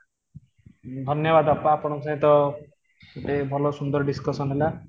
ଧନ୍ୟବାଦ ଅପା ଆପଣଙ୍କ ସହିତ ଏତେ ଭଲ ସୁନ୍ଦର discussion ହେଲା